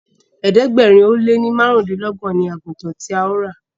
ẹ̀ẹ́dẹ̀gbẹ̀rin o lẹ ní márùndínlogbon ní àgùtàn tí a yóò rà.